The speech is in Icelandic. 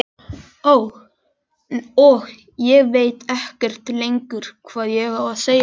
Og ég veit ekkert lengur hvað ég á að segja.